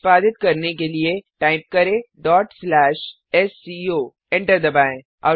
निष्पादित करने के लिए टाइप करें sco एंटर दबाएँ